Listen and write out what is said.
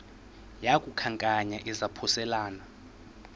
yaku khankanya izaphuselana